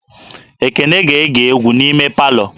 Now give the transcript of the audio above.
Ekene ga-ege egwu n'ime palọ